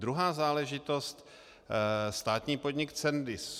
Druhá záležitost - státní podnik Cendis.